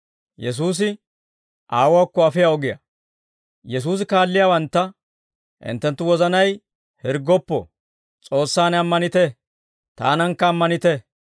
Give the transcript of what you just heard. Yesuusi kaalliyaawantta «Hinttenttu wozanay hirggoppo; S'oossaan ammanite; Taanankka ammanite.